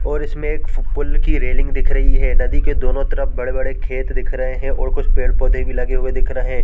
और इसमें एक पूल की रेलिंग दिख रही है नदी के दोनों तरफ बड़े-बड़े खेत दिख रहे है कुछ पेड़-पौधे लगे हुए भी दिख रहे--